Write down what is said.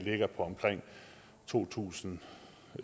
på omkring to tusind